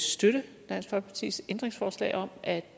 støtte dansk folkepartis ændringsforslag om at